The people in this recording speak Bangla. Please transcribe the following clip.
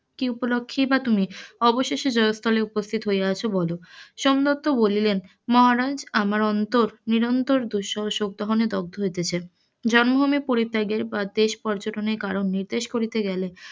কি উপলখ্যে তুমি অবশেষে জয়স্থলে উপস্থিত হইয়াছ বল, সোমদত্ত বলিলেন মহারাজ আমার অন্তর নিরন্তর শোক পালনে দগ্ধ হইতাছে জন্মভুমি পরিত্যাগে বা দেশ পর্যটনের কারণ নির্দেশ করিতে গেলে,